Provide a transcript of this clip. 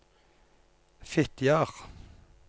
Fitjar